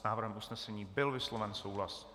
S návrhem usnesení byl vysloven souhlas.